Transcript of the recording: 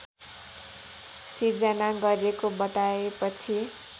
सिर्जना गरेको बताएपछि